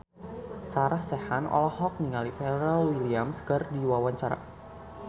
Sarah Sechan olohok ningali Pharrell Williams keur diwawancara